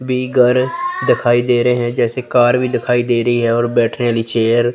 भी घर दिखाई दे रहे हैं जैसे कार भी दिखाई दे रही है और बैठने वाली चेयर